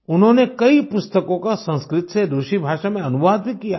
उन्होंने कई पुस्तकों का संस्कृत से रुसी भाषा में अनुवाद भी किया है